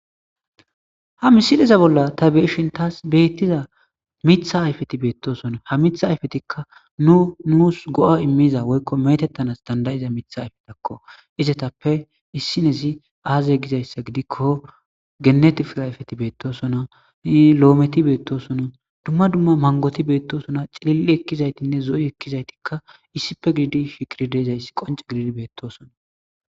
ha misileza bolla ta beeshin taas beettiza mitha ayfeti beettosona ha mitha ayfetikka nu nuus go7a immiza woykko metettanas dandayiza mitha ayfetakko izetappe issinezi aaze gizayssa gidikko genet firayfeti beettosona ni lo7ometi beettosono dumma dumma mangoti beettosona cililli ekkizaytinne zo7i ekkizaytikka issippe gidi shikiri deezayssi qonce gididi beettoosona